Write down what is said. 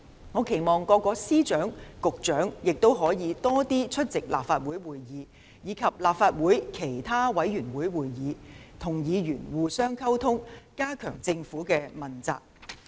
我期望各位司長和局長亦可以多出席立法會會議，以及立法會其他委員會會議，與議員互相溝通，加強政府的問責。